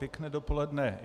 Pěkné dopoledne.